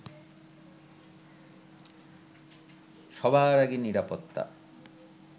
সবার আগে নিরাপত্তা